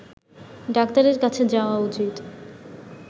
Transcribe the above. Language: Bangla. ডাক্তারের কাছে যাওয়া উচিত